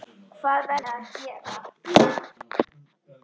Hvað verðum við að gera?